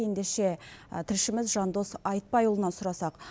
ендеше тілшіміз жандос айтпайұлынан сұрасақ